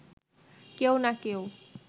কেউ না কেউ